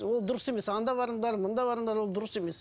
ол дұрыс емес анда барыңдар мұнда барыңдар ол дұрыс емес